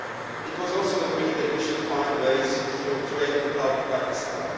It was also agreed that we should find ways, through trade, to help Pakistan.